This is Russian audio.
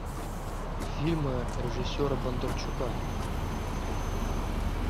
фильмы режиссера бондарчука